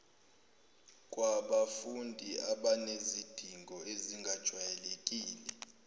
kwabafundi abanezidingo ezingajwayelekile